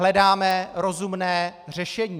Hledáme rozumné řešení.